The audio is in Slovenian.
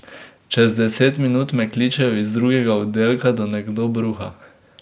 Čez deset minut me kličejo iz drugega oddelka, da nekdo bruha.